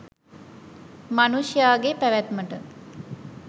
මනුෂ්‍යයාගේ පැවැත්මට